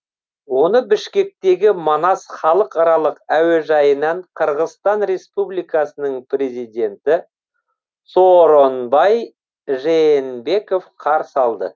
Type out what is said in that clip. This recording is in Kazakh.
оны бішкектегі манас халықаралық әуежайынан қырғызстан республикасының президенті сооронбай жээнбеков қарсы алды